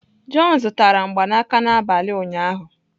John zụtara mgbanaka n'abalị ụnyaahụ.